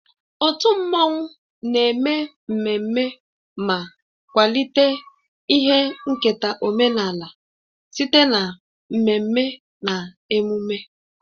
Otu mmanwụ na-eme mmemme ma kwalite ihe nketa omenala site na mmemme na emume